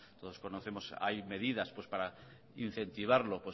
todos conocemos hay medidas para incentivarlo